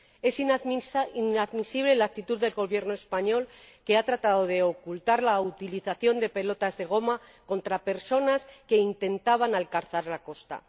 Es inadmisible la actitud del Gobierno español, que ha tratado de ocultar la utilización de pelotas de goma contra personas que intentaban alcanzar la costa.